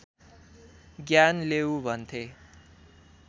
ज्ञान लेऊ भन्थे